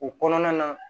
O kɔnɔna na